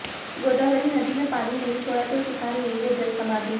गोदावरी नदी में पानी नही छोड़ा तो किसान लेंगे जल समाधि